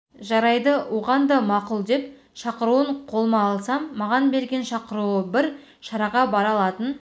жарайды оған да мақұл деп шақыруын қолыма алсам маған берген шақыруы бір шараға бара алатын